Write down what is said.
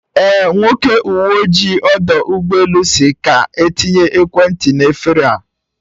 Eh, Nwoke uwe ojii ọdọ ụgbọ elu si ka etinye ekwentị n'efere a